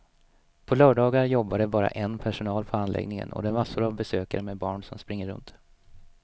På lördagar jobbar det bara en personal på anläggningen och det är massor av besökare med barn som springer runt.